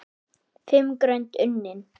Fimm grönd unnin!